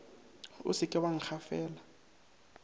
o se ke wa nkgafela